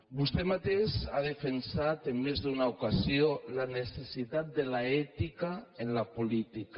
vostè mateix ha defensat en més d’una ocasió la necessitat de l’ètica en la política